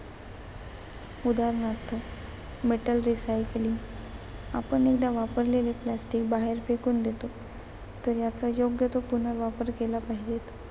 उदारणार्थ Metal recycling आपण एकदा वापरलेले प्लास्टिक बाहेर फेकून देतो. तर याचा योग्य तो पुनर्वापर केला पाहिजे.